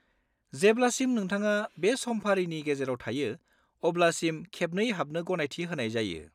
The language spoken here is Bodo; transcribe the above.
जेब्लासिम नोंथाङा बे समफारिनि गेजेराव थायो अब्लासिम खेबनै हाबनो गनायथि होनाय जायो।